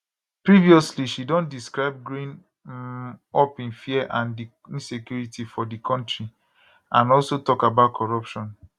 previously she don describe growing um up in fear and di insecurity for di kontri and also tok about corruption